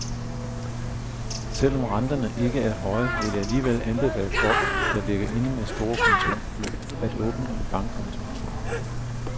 Selv om renterne ikke er høje, vil jeg alligevel anbefale folk, der ligger inde med så store kontantbeløb, at åbne en bankkonto.